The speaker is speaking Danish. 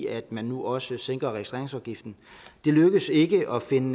af at man nu også sænker registreringsafgiften det lykkedes ikke at finde